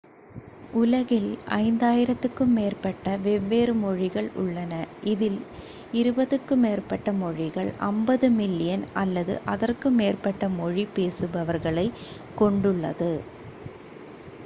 உலகில் 5,000-க்கும் மேற்பட்ட வெவ்வேறு மொழிகள் உள்ளன இதில் இருபதுக்கும் மேற்பட்ட மொழிகள் 50 மில்லியன் அல்லது அதற்கு மேற்பட்ட மொழி பேசுபவர்களைக் கொண்டுள்ளது